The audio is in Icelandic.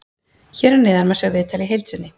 Hér að neðan má sjá viðtalið í heild sinni.